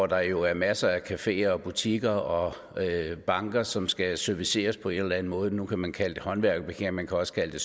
der jo masser af caféer butikker og banker som skal serviceres på en eller anden måde nu kan man kalde det en håndværkerparkering man kan også kalde det